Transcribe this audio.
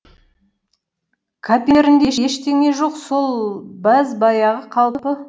қаперінде ештеңе жоқ сол бәз баяғы қалпы